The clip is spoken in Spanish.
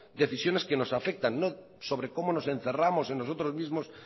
decisiones que nos afectan no sobre cómo nos encerramos en nosotros mismos